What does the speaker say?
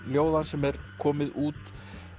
ljóða hans sem er komið út